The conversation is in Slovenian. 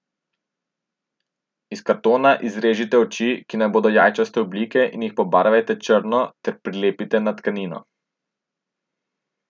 Iz kartona izrežite oči, ki naj bodo jajčaste oblike, in jih pobarvajte črno ter prilepite na tkanino.